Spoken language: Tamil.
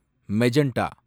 மெஜண்டா